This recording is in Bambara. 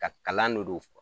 Ka kalan .